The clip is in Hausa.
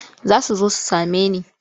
Za su zo su same ni.